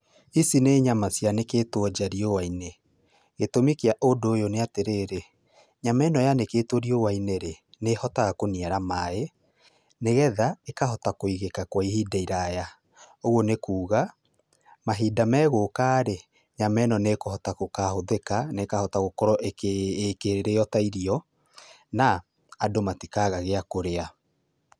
Ici nĩ nyama cianĩkĩtwo nja riua-inĩ. Gĩtũmi kĩa ũndũ ũyũ nĩ atĩrĩrĩ, nyama ĩno yanĩkĩtwo rĩua-inĩ rĩ, nĩ ĩhotaga kũniara maĩ, nĩgetha, ĩkahota kũigĩka kwa ihinda iraya. Ũguo nĩ kuuga, mahinda megũka rĩ, nyama ĩno nĩ ĩkũhota gũkahũthĩka, na ĩkahota gũkorwo ĩkĩrĩo ta irio, na, andũ matikaga gĩa kũrĩa.